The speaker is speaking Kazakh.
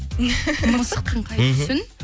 мысықтың қай түсін